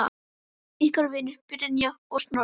Ykkar vinir, Brynja og Snorri.